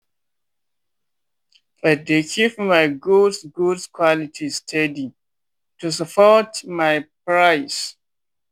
i dey keep my goods goods quality steady to support my price.